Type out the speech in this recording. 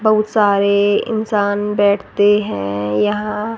बहुत सारे इंसान बैठते हैं यहां--